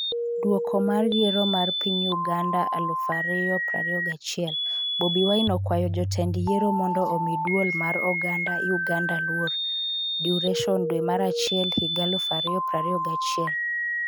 Duoko mar yiero mar piny Uganda 2021: Bobi Wine okwayo jotend Yiero mondo omi dwol mar oganda Uganda luor, Duration 0.5514 dwe mar achiel higa 2021 0:34 Video